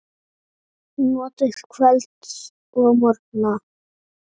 Notið kvölds og morgna.